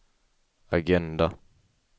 agenda